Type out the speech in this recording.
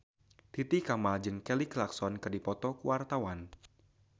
Titi Kamal jeung Kelly Clarkson keur dipoto ku wartawan